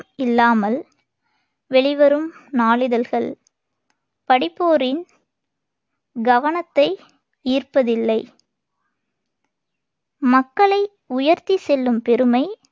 இல்லாமல் வெளிவரும் நாளிதழ்கள் படிப்போரின் கவனத்தை ஈர்ப்பதில்லை மக்களை உயர்த்தி செல்லும் பெருமை